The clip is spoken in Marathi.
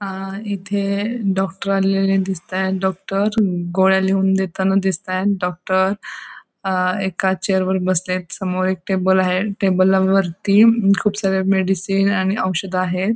अ इथे डॉक्टर आलेले दिसतायेत डॉक्टर गोळ्या लिहून देताना दिसताय डॉक्टर एका चेअर वर बसलेत समोर एक टेबल आहे टेबला वरती खूप सारे मेडिसिन आणि औषधे आहे.